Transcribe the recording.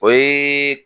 O ye